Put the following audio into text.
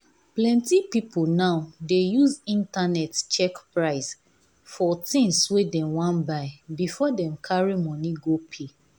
plenty people now dey use internet check price for things wey dem wan buy before dem carry money go pay.